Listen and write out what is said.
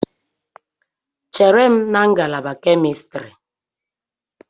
Chere m na ngalaba kemistri!